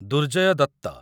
Durjay Dutt